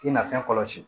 I na fɛn kɔlɔsi